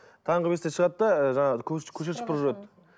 таңғы бестен шығады да ыыы жаңағы көше сыпырып жүреді